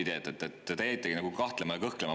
Te jäite nagu kahtlema ja kõhklema.